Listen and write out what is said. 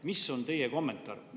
Mis on teie kommentaar?